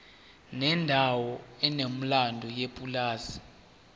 kwendawo enomlando yepulazi